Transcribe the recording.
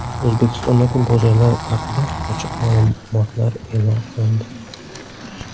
O‘zbekistondagi bozorlar haqida ochiq ma’lumotlar e’lon qilindi.